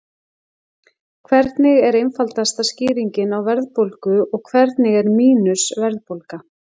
hvernig er einfaldasta skýringin á verðbólgu og hvernig er „mínus“ verðbólga